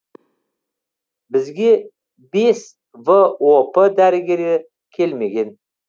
бізге бес воп дәрігері келмеген